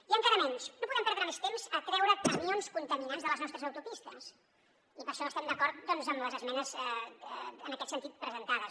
i encara menys no podem perdre més temps a treure camions contaminants de les nostres autopistes i per això estem d’acord amb les esmenes en aquest sentit presentades